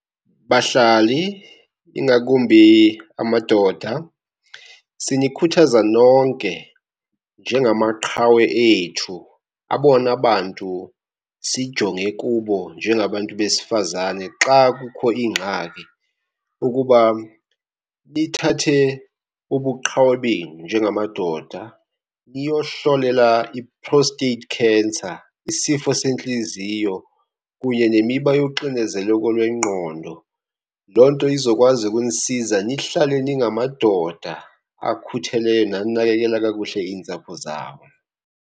Bahlali, ingakumbi amadoda, sinikhuthaza nonke njengamaqhawe ethu, abona bantu sijonge kubo njengabantu besifazane xa kukho iingxaki, ukuba nithathe ubuqhawe benu njengamadoda niyohlolela i-prostate cancer, isifo sentliziyo kunye nemiba yoxinezeleko lwengqondo. Loo nto izokwazi ukunisiza nihlale ningamadoda akhutheleyo nanakekela kakuhle iintsapho zabo.